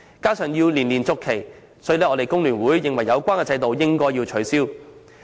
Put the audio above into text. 加上就業證須年年續期，故此工聯會認為有關制度應該取消。